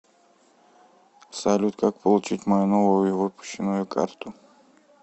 салют как получить мою новую выпущенную карту